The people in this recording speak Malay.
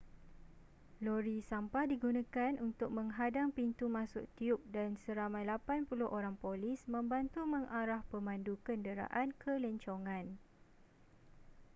lori sampah digunakan untuk menghadang pintu masuk tiub dan seramai 80 orang polis membantu mengarah pemandu kenderaan ke lencongan